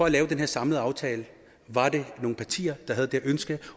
at lave den samlede aftale nogle partier der havde det ønske